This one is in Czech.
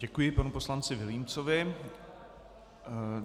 Děkuji panu poslanci Vilímcovi.